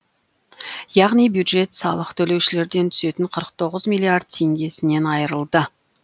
яғни бюджет салық төлеушілерден түсетін қырық тоғыз миллиард теңгесінен айырылды